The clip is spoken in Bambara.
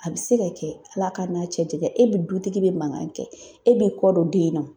A bɛ se ka kɛ Ala ka n'a cɛ janyan e bɛ dutigi bɛ mankan kɛ e bɛ kɔ dɔ den na o.